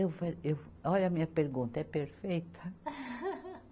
Eu falei, eu, olha a minha pergunta, é perfeita?